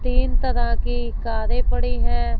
तीन तरह की कारे पड़ी है।